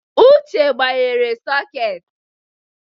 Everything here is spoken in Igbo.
Uche gbanyere sọketị.